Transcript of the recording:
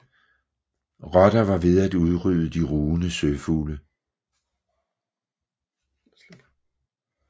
Rotter var ved at udrydde de rugende søfugle